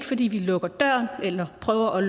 fordi vi lukker døren eller prøver at